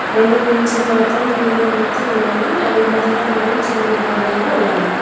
రెండు బెంచులు మాత్రం గ్రీన్ కలర్ తో ఉన్నవి అవి మొదట మరియు చివరి భాగంలో ఉన్నాయి.